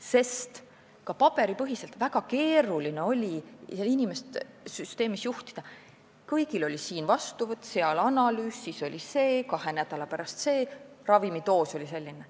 Ka varem, paarkümmend aastat tagasi, oli väga keeruline inimest paberipõhises süsteemis juhtida: siin oli vastuvõtt, seal analüüs, siis oli see, kahe nädala pärast see, ravimidoos oli selline.